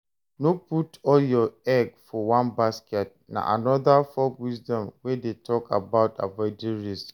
No put all your egg for one basket na another folk wisdom wey de talk about avoiding risk